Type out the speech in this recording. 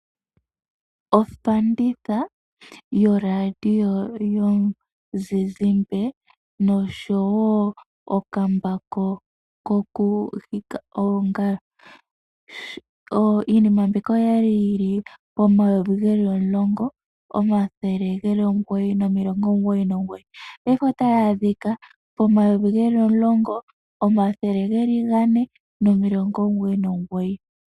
Ofanditha yo Radio yomuzizimbe noshowo okambako koku lilitha oongalo. Iinima mbika okwali yili pomayovi geli omulongo omathele geli omugoyi nomilongo omugoyi nomugoyi, paife otayi adhika pomayovi geli omulongo omathele gane nomilongo omugoyi nomugoyi.